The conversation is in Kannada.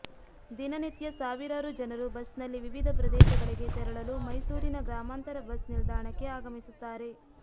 ದಿನನಿತ್ಯ ಸಾವಿರಾರು ಜನರು ಬಸ್ನಲ್ಲಿ ವಿವಿಧ ಪ್ರದೇಶಗಳಿಗೆ ತೆರಳಲು ಮೈಸೂರಿನ ಗ್ರಾಮಾಂತರ ಬಸ್ ನಿಲ್ದಾಣಕ್ಕೆ ಆಗಮಿಸುತ್ತಾರೆ